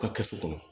U ka kɛsu kɔnɔ